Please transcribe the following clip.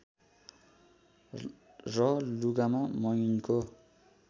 र लुगामा मैनको